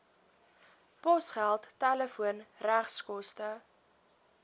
posgeld telefoon regskoste